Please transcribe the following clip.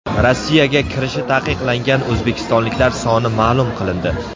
Rossiyaga kirishi taqiqlangan o‘zbekistonliklar soni ma’lum qilindi.